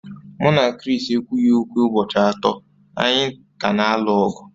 Mụ na Chris ekwughị okwu ụbọchị atọ, anyị ka na-alụ ọgụ